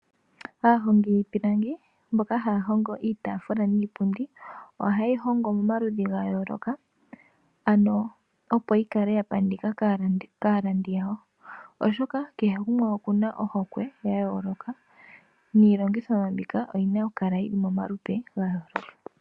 Aahongi yiipilangi mboka haya hongo iitaafula niipilangi oha yeyi hongo mo maludhi ga yooloka ano opo yi kale ya pandika kaalandi yawo. Oshoka kehe gumwe okuna ohokwe ya yooloka niilongitho yimwe mbika oyina oku kala yili mo malupe ga yooloka.